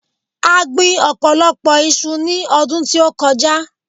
A gbin ọ̀pọ̀lọpọ̀ iṣu ní ọdún tí ó kọjá.